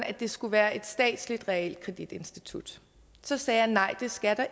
at det skulle være et statsligt realkreditinstitut så sagde jeg nej det skal